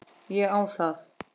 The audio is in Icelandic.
Ég á það.